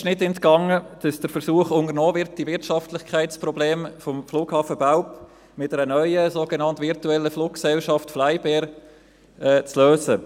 Auch uns ist nicht entgangen, dass der Versuch unternommen wird, die Wirtschaftlichkeitsprobleme des Flughafens Belp mit einer neuen, sogenannt virtuellen Fluggesellschaft «FlyBair», zu lösen.